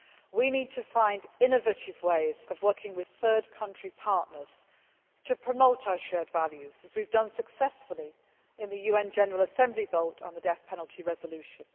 We need to find innovative ways of working with third country partners to promote our shared values, as we have done successfully in the UN General Assembly vote on the death penalty resolution.